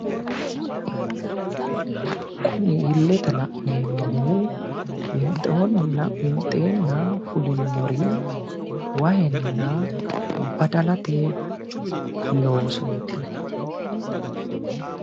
Kuni illete la'neemmohu winxeenna fulinori wahenna badalate loosooti